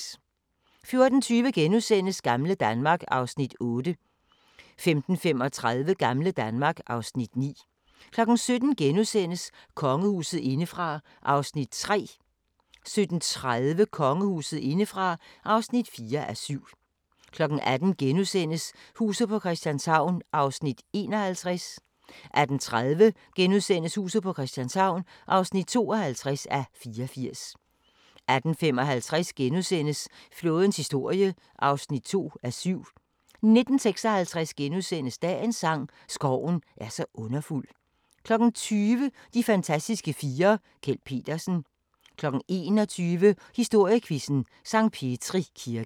14:20: Gamle Danmark (Afs. 8)* 15:35: Gamle Danmark (Afs. 9) 17:00: Kongehuset indefra (3:7)* 17:30: Kongehuset indefra (4:7) 18:00: Huset på Christianshavn (51:84)* 18:30: Huset på Christianshavn (52:84)* 18:55: Flådens historie (2:7)* 19:56: Dagens sang: Skoven er så underfuld * 20:00: De fantastiske fire: Kjeld Petersen 21:00: Historiequizzen: Sankt Petri Kirke